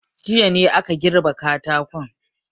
Jiya ne aka girbe katakon.